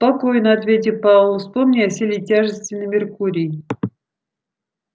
спокойно ответил пауэлл вспомни о силе тяжести на меркурии